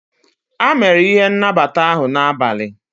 a mere ihe n' nabata ahụ n'abalị